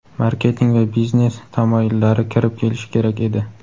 marketing va biznes tamoyillari kirib kelishi kerak edi.